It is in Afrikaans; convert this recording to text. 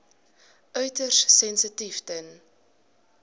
uiters sensitief ten